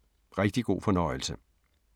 Rigtig god fornøjelse!